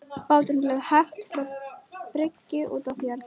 Báturinn leið hægt frá bryggju út á fjörð.